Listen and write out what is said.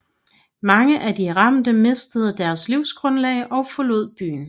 Mange af de ramte mistede deres livsgrundlag og forlod byen